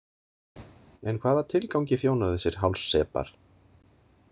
En hvaða tilgangi þjóna þessir hálssepar?